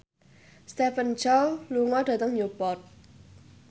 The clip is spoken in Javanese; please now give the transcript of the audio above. Stephen Chow lunga dhateng Newport